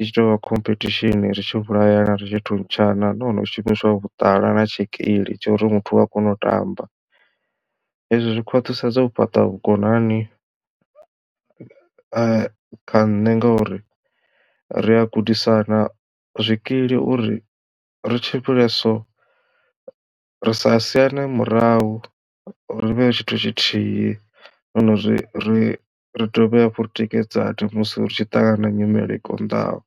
i tshi to vha khomphethishini ri tshi vhulayana ritshi thuntshana nahone hu shumiswa vhuṱala na tshikili tsha uri muthu u a kona u tamba. Hezwi zwi khwaṱhisedza u fhaṱa vhukonani kha nṋe ngauri ri a gudisana zwikili uri ri tshimbile so ri sa siane murahu ri vhe tshithu tshithihi hone ri ri ri dovhe hafhu ri tikedzane musi ri tshi ṱangana na nyimele i konḓaho.